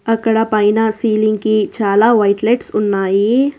అక్కడ పైన సీలింగ్ కి చాలా వైట్ లైట్స్ ఉన్నాయి.